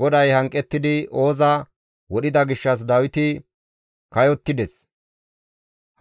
GODAY hanqettidi Ooza wodhida gishshas Dawiti kayottides;